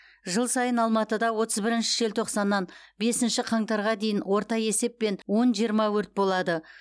жыл сайын алматыда отыз бірінші желтоқсаннан бесінші қаңтарға дейін орта есеппен он жиырма өрт болады